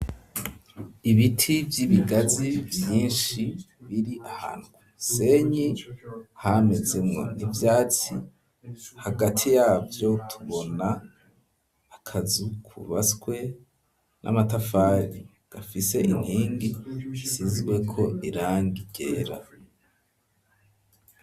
ibiti vy'ibigazi vyinshi biri ahantu kumusenyi hamezemwo n'ivyatsi, hagati yavyo tubona akazu kubatswe n'amatafari gafise inkingi zisizweko irangi ryera.